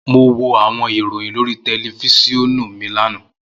Mo wo awọn iroyin lori tẹlifisiọnu mi lana.